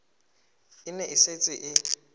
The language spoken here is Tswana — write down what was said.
e ne e setse e